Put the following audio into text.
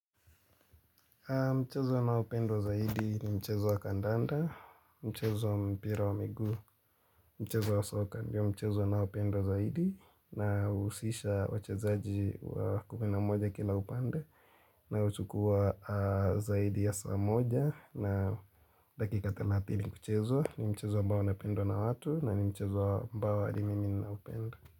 Mchezo unaopendwa zaidi ni mchezo wa kandanda, mchezo mpira wa miguu, mchezo wa soka, ndio mchezo unaopendwa zaidi, na uhusisha wachezaji kumi na moja kila upande, na huchukua zaidi ya saa moja, na dakika thelathini kuchezwa, ni mchezo ambao unapendwa na watu, na ni mchezo ambao hadi mimi naupenda.